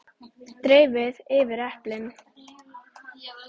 Dreifið yfir eplin.